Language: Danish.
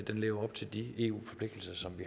lever op til de eu forpligtelser som vi